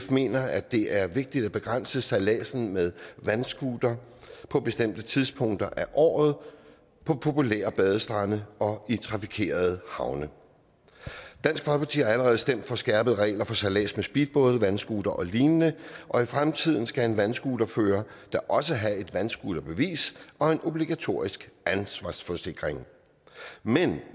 mener at det er vigtigt at begrænse sejladsen med vandscooter på bestemte tidspunkter af året på populære badestrande og i trafikerede havne dansk folkeparti har allerede stemt for skærpede regler for sejlads med speedbåd vandscooter og lignende og i fremtiden skal en vandscooterfører da også have et vandscooterbevis og en obligatorisk ansvarsforsikring men